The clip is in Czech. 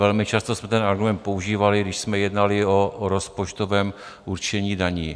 Velmi často jste ten argument používali, když jsme jednali o rozpočtovém určení daní.